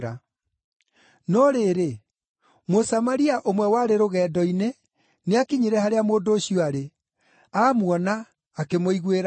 No rĩrĩ, Mũsamaria ũmwe warĩ rũgendo-inĩ nĩakinyire harĩa mũndũ ũcio aarĩ, amuona akĩmũiguĩra tha.